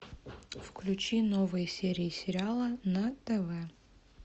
включи новые серии сериала на тв